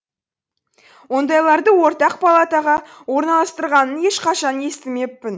ондайларды ортақ палатаға орналастырғанын ешқашан естімеппін